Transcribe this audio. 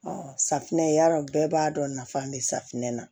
safunɛ ya dɔ bɛɛ b'a dɔn nafa bɛ safunɛ na